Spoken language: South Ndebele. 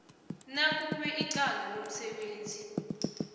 nakube icala lomsebenzi